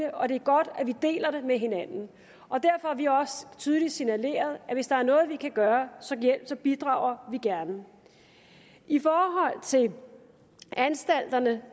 og det er godt at vi deler det med hinanden og derfor har vi også tydeligt signaleret at hvis der er noget vi kan gøre så bidrager vi gerne i forhold til anstalterne